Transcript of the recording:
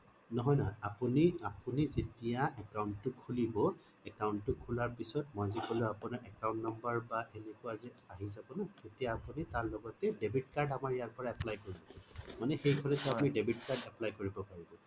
নহয় নহয় আপুনি আপুনি যেতিয়া account টো খোলিব মই যে কলো আপোনাৰ account number বা সেনেকোৱা যে আহি যাব না তেতিয়া আপুনি তাৰ লগতে debit card আমাৰ ইয়াৰ পৰাই apply কৰি দিছে মানে সেইফালে আপুনি debit card apply কৰিব পাৰিব